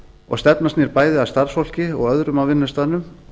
og stefnan snýr bæði að starfsfólki og öðrum á vinnustaðnum